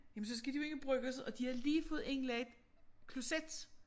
Jamen så skal de jo ind i bryggerset og de havde lige fået indlagt kloset